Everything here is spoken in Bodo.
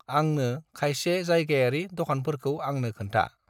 आंंनो खायसे जायगायारि दखानफोरखौ आंनो खोनथा।